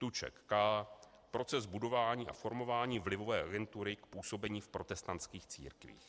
TUČEK, K.: Proces budování a formování vlivové agentury k působení v protestantských církvích.